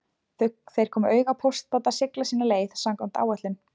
Þeir komu auga á póstbáta sigla sína leið samkvæmt áætlun